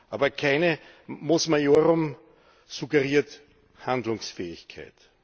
Aber keine Mos Maiorum suggeriert Handlungsfähigkeit.